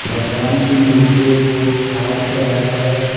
भगवान की मूर्तियो को हार चढ़ाया है।